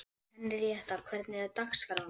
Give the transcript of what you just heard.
Henríetta, hvernig er dagskráin?